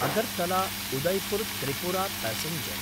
अगर्तला–उदयपुर् Tripura passenger